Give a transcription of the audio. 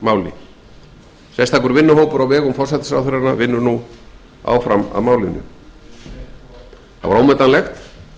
miklu sérstakur vinnuhópur á vegum forsætisráðherranna vinnur nú að málinu það var ómetanlegt að